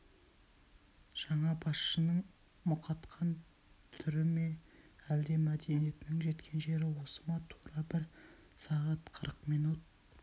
жаңа басшының мұқатқан түрі ме әлде мәдениетінің жеткен жері осы ма тура бір сағат қырық минут